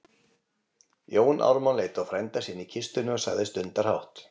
Jón Ármann leit á frænda sinn í kistunni og sagði stundarhátt